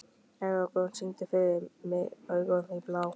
Eragon, syngdu fyrir mig „Augun þín blá“.